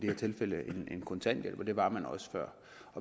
her tilfælde en kontanthjælp og det var man også før